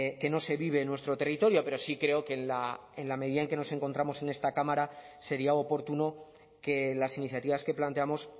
que no se vive en nuestro territorio pero sí creo que en la medida en que nos encontramos en esta cámara sería oportuno que las iniciativas que planteamos